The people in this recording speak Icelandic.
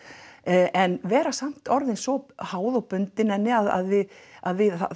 en vera samt svo háð og bundin henni að við að við